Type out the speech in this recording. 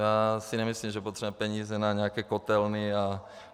Já si nemyslím, že potřebujeme peníze na nějaké kotelny.